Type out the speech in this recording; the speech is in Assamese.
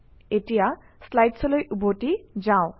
এতিয়া slides অলৈ উভতি যাওঁ